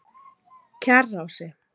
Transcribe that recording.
Kjarrási